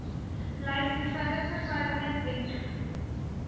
lys eenvoudige veiligheidswenke